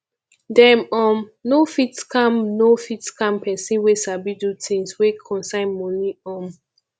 dem um no fit scam no fit scam pesin wey sabi do things wey concern moni um